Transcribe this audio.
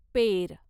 पेर